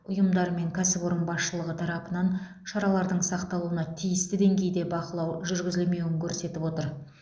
ұйымдар мен кәсіпорын басшылығы тарапынан шаралардың сақталуына тиісті деңгейде бақылау жүргізілмеуін көрсетіп отыр